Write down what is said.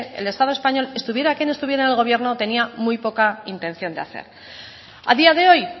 el estado español estuviera quien estuviera en el gobierno tenía muy poca intención de hacer a día de hoy